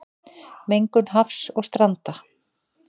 Mengun hafs og stranda